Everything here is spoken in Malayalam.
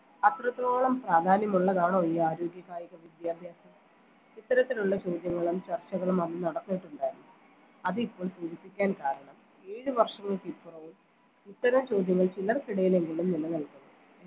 അത്രത്തോളം പ്രാധാന്യമുള്ളതാണോ ഈ ആരോഗ്യ കായിക വിദ്യാഭ്യാസം ഇത്തരത്തിലുള്ള ചോദ്യങ്ങളും ചർച്ചകളും അന്ന് നടന്നിട്ടുണ്ടായിരുന്നു അതിപ്പോൾ സൂചിപ്പിക്കാൻ കാരണം ഏഴ് വർഷങ്ങൾക്കിപ്പുറവും ഇത്തരം ചോദ്യങ്ങൾ ചിലർക്കിടയിലെങ്കിലും നിലനിൽക്കുന്നു